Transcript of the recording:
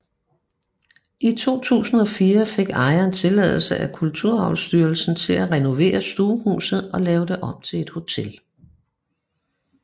I 2004 fik ejeren tilladelse af Kulturarvsstyrelsen til at renovere stuehuset og lave det om til hotel